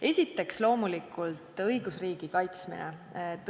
Esiteks, loomulikult õigusriigi kaitsmine.